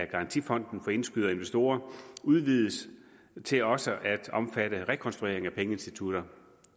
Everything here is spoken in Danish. garantifonden for indskydere og investorer udvides til også at omfatte rekonstruering af pengeinstitutter